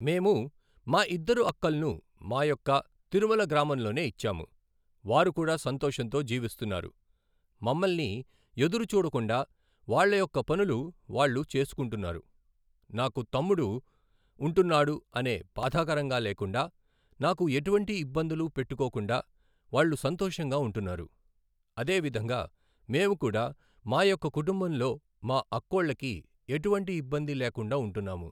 మేము మా ఇద్దరు అక్కల్ను మా యొక్క తిరుమల గ్రామంలోనే ఇచ్చాము. వారు కూడా సంతోషంతో జీవిస్తున్నారు. మమ్మల్ని ఎదురు చూడకుండా వాళ్ల యొక్క పనులు వాళ్ళు చేసుకుంటున్నారు. నాకు తమ్ముడు ఉంటున్నాడు అనే బాధాకరంగా లేకుండా నాకు ఎటువంటి ఇబ్బందులు పెట్టుకోకుండా వాళ్లు సంతోషంగా ఉంటున్నారు. అదేవిధంగా మేము కూడా మా యొక్క కుటుంబంలో మా అక్కోళ్ళకి ఎటువంటి ఇబ్బంది లేకుండా ఉంటున్నాము.